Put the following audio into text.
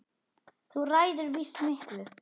Þú ræður víst miklu.